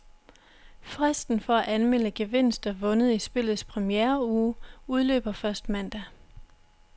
Fristen for at anmelde gevinster vundet i spillets premiereuge udløber først mandag.